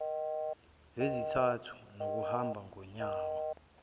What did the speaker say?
zezizathu zokuhamba ngonyawo